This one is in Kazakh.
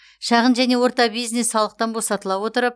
шағын және орта бизнес салықтан босатыла отырып